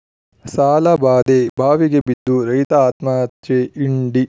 ಸಾಲಬಾಧೆ ಬಾವಿಗೆ ಬಿದ್ದು ರೈತ ಆತ್ಮಹತ್ಯೆ ಇಂಡಿ